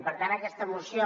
per tant aquesta moció